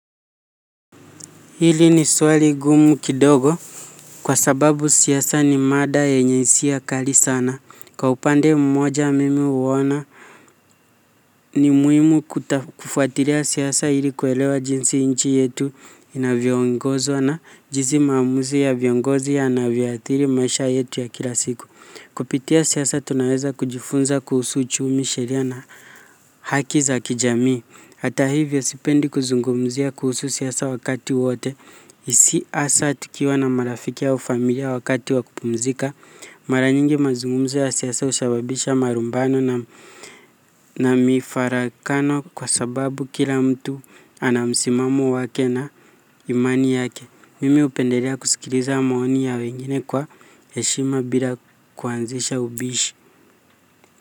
Hili ni swali gumu kidogo kwa sababu siasa ni mada yenye hisia kali sana. Kwa upande mmoja mimi huona ni muhimu kufuatilia siasa ili kuelewa jinsi inchi yetu inavyoongozwa na jinsi maamuzi ya viongozi yanavyathiri maisha yetu ya kila siku. Kupitia siasa tunaweza kujifunza kuhusu uchumi sheria na haki za kijamii. Hata hivyo sipendi kuzungumzia kuhusu siasa wakati wote, hasa tukiwa na marafiki au familia wakati wa kupumzika, mara nyingi mazungumzo ya siasa husababisha marumbano na mifarakano kwa sababu kila mtu ana msimamo wake na imani yake. Mimi hupendelea kusikiliza maoni ya wengine kwa heshima bila kuanzisha ubishi.